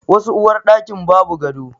Wasu uwarɗakin ba bu gado.